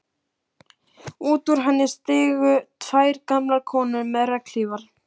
Út úr henni stigu tvær gamlar konur með regnhlífar.